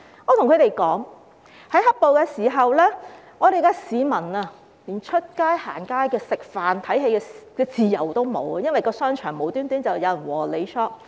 我告訴他們，在"黑暴"期間，市民連出街、逛街、吃飯和看戲的自由也沒有，因為商場無故有人"和你 shop"。